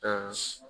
Ka